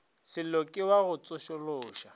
sello ke wa go tsošološa